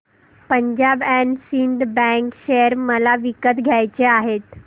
Punjab and Sind bank share मला विकत घ्यायचे आहेत